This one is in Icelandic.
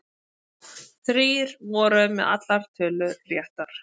Þrír voru með allar tölur réttar